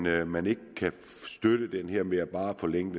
at man ikke kan støtte det her med bare at forlænge